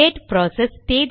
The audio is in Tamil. date process